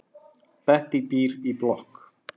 Bettý býr í blokk.